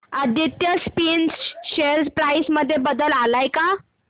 Aditya spinners share price मध्ये बदल आलाय का